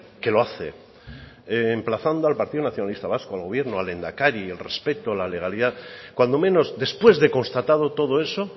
que lo hace emplazando al partido nacionalista vasco al gobierno al lehendakari al respeto a la legalidad cuando menos después de constatado todo eso